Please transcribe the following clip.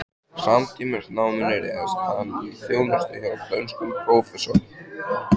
Samtímis náminu réðst hann í þjónustu hjá dönskum prófessor